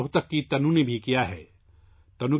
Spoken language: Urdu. روہتک کی تنو نے بھی ایسا ہی کرشمہ کیا ہے